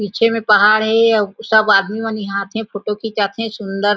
पीछे मा पहाड़ हे अउ सब आदमी मन इहा आ थे फोटो खींचा थे सुन्दर--